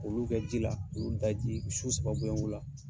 Olu kɛ ji la olu daji su saba boyongo la.